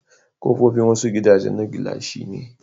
Kofofin wasu gidajan na gilashi ne.